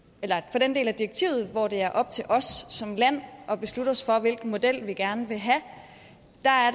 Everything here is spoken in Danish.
den del af direktivet hvor det er op til os som land at beslutte os for hvilken model vi gerne vil have